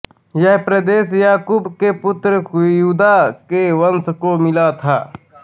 यह प्रदेश याकूब के पुत्र यूदा के वंश को मिला था